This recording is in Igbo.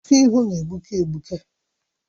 Ọkụ ịhụ na-egbuke egbuke